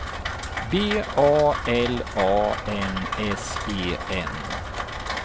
B A L A N S E N